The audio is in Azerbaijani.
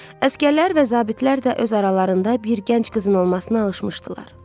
Əsgərlər və zabitlər də öz aralarında bir gənc qızın olmasına alışmışdılar.